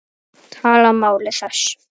Tala máli þess?